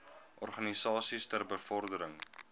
organisasies ter bevordering